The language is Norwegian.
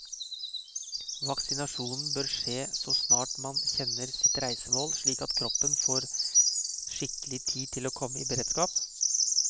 Vaksinasjon bør skje så snart man kjenner sitt reisemål, slik at kroppen får skikkelig tid til å komme i beredskap.